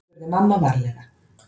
spurði mamma varlega.